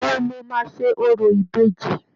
Ìgbà wo lọ́ máa ṣe orò ìbejì?